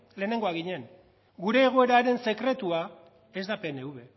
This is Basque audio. lehenengoak ginen gure egoeraren sekretua ez da pnv